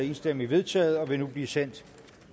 enstemmigt vedtaget og vil nu blive sendt